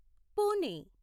Pune